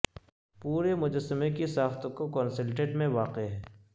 پورے مجسمے کی ساخت کو کونسلڈٹ میں واقع ہے